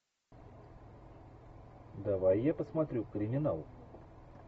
давай я посмотрю криминал